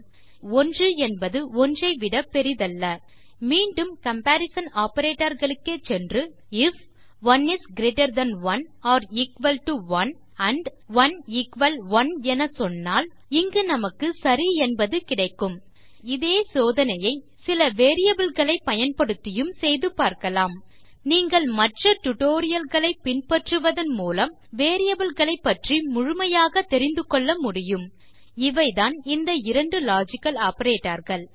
ஏனெனில் 1என்பது 1ஐ விட பெரியதல்ல மீண்டும் கம்பரிசன் ஆப்பரேட்டர்ஸ் க்கே சென்று if 1 is greater than 1 or equal to 1 and 1 equal 1 என சொல்வோமானால் இங்கு நமக்கு சரி என்பது கிடைக்கும் இப்பொழுது இதே சோதனையை சில variableகளைப் பயன்படுத்தியும் செய்து பார்க்கலாம் நீங்கள் மற்ற tutorialகளைப் பின்பற்றுவதன் மூலம் variableகளைப் பற்றி முழுமையாக தெரிந்து கொள்ள முடியும் இவைதான் அந்த இரண்டு லாஜிக்கல் ஆப்பரேட்டர்ஸ்